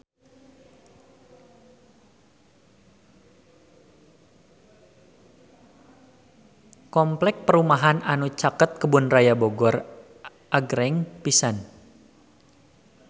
Kompleks perumahan anu caket Kebun Raya Bogor agreng pisan